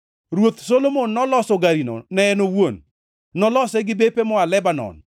Ruoth Solomon noloso garino ne en owuon; nolose gi bepe moa Lebanon.